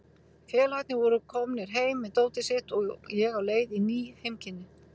Félagarnir voru komnir heim með dótið sitt og ég á leið í ný heimkynni.